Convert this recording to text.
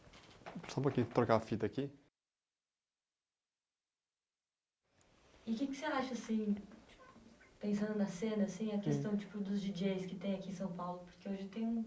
só um pouquinho, trocar a fica aqui...E o que que você acha, assim, pensando na cena, assim, hum a questão, tipo, dos di jê is que tem aqui em São Paulo? Porque hoje tem